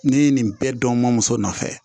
Ne ye nin bɛɛ dɔn n ma muso nɔfɛ